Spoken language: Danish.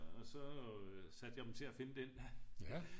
Og så øh satte jeg dem til at finde den